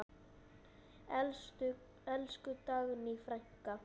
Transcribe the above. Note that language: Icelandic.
Elsku Dagný frænka.